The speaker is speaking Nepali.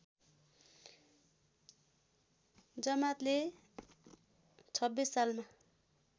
जमातले ०२६ सालमा